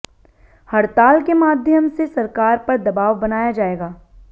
हड़ताल के माध्यम से सरकार पर दबाव बनाया जाएगा